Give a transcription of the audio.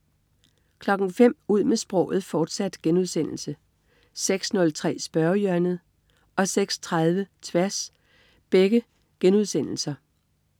05.00 Ud med sproget, fortsat* 06.03 Spørgehjørnet* 06.30 Tværs*